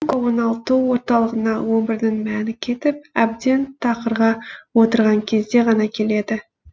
оңалту орталығына өмірінің мәні кетіп әбден тақырға отырған кезде ғана келеді